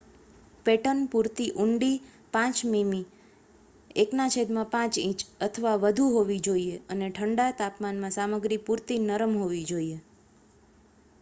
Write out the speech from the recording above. pattern પૂરતી ઊંડી 5 મીમી 1/5 ઇંચ અથવા વધુ હોવી જોઈએ અને ઠંડા તાપમાનમાં સામગ્રી પૂરતી નરમ હોવી જોઈએ